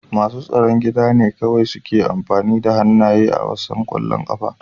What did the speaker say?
Masu tsaron gida ne kawai suke amfani da hannaye a wasan ƙwallon ƙafa.